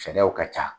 Sariyaw ka ca